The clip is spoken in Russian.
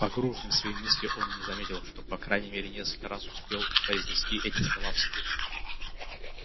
погруженный в свои мысли он и не заметил что по крайней мере несколько раз успел уже произнести эти слова вслух